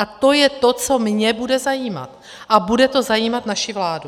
A to je to, co mě bude zajímat a bude to zajímat naši vládu.